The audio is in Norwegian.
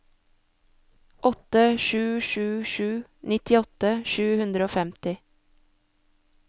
åtte sju sju sju nittiåtte sju hundre og femti